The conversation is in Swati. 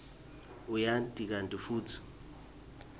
uyati kantsi futsi